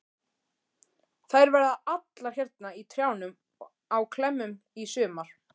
Þær verða allar hérna í trjánum á klemmum í sumar.